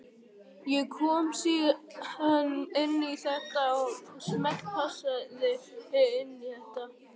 Ég kom síðan inn í þetta og smellpassa inn í þetta.